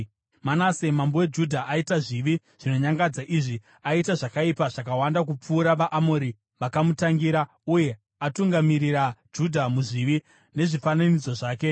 “Manase mambo weJudha aita zvivi zvinonyangadza izvi. Aita zvakaipa zvakawanda kupfuura vaAmori vakamutangira uye atungamirira Judha muzvivi nezvifananidzo zvake.